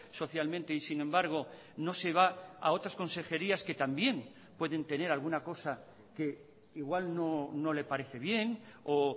socialmente y sin embargo no se va a otras consejerías que también pueden tener alguna cosa que igual no le parece bien o